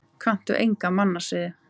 Kanntu enga mannasiði?